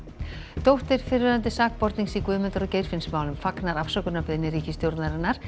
dóttir fyrrverandi sakbornings í Guðmundar og Geirfinnsmálum fagnar afsökunarbeiðni ríkisstjórnarinnar